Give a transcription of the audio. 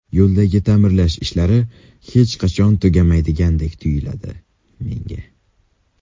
Yo‘llardagi ta’mirlash ishlari hech qachon tugamaydigandek tuyuladi, menga.